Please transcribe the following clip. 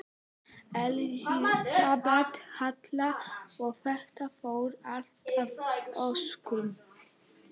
Elísabet Hall: Og þetta fór allt að óskum?